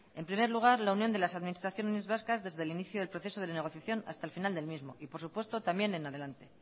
en primer lugar la unión de las administraciones vascas desde el inicio del proceso de negociación hasta el final del mismo y por supuesto también en adelante